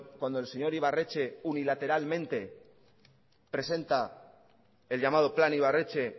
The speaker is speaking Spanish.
cuando el señor ibarretxe unilateralmente presenta el llamado plan ibarretxe